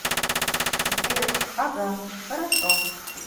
сбер ага хорошо